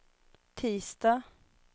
tisdag